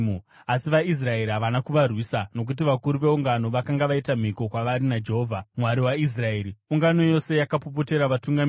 Asi vaIsraeri havana kuvarwisa, nokuti vakuru veungano vakanga vaita mhiko kwavari naJehovha, Mwari waIsraeri. Ungano yose yakapopotera vatungamiri,